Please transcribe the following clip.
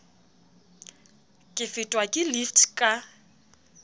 ke fetwa ke lift ka